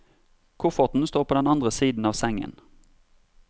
Kofferten står på den andre siden av sengen.